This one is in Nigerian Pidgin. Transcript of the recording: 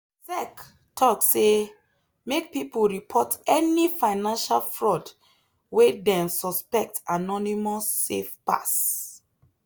sec talk say make people report any financial fraud wey dem suspect anonymous safe pass.